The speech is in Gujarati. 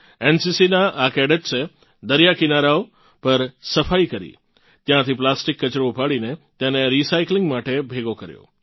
NCCનાં આ કેડેટ્સે દરિયાકિનારાઓbeaches પરની સફાઇ કરી ત્યાંથી પ્લાસ્ટિક કચરો ઉપાડીને તેને રિસાઇકલીંગ માટે ભેગો કર્યો